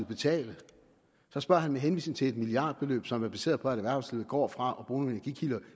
betale så spørger han med henvisning til et milliardbeløb som er baseret på at erhvervslivet går fra